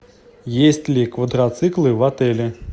есть ли квадроциклы в отеле